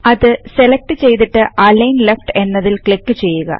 അത് സെലക്ട് ചെയ്തിട്ട് align left എന്നതിൽ ക്ലിക്ക് ചെയ്യുക